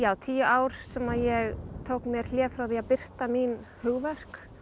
tíu ár sem að ég tók mér hlé frá því að birta mín hugverk